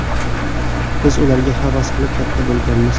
Biz ularga havas qilib, katta bo‘lganmiz.